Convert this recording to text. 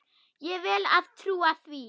Ég vel að trúa því.